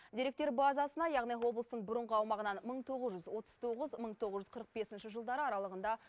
деректер базасына яғни облыстың бұрынғы аумағынан мың тоғыз жүз отыз тоғызыншы мың тоғыз жүз қырық бесінші жылдары аралығында